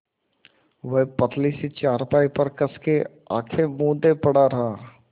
वह पतली सी चारपाई पर कस के आँखें मूँदे पड़ा रहा